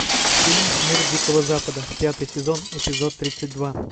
фильм мир дикого запада пятый сезон эпизод тридцать два